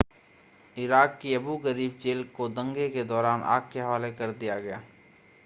Iraq की Abu Ghraib jail को दंगे के दौरान आग के हवाले कर दिया गया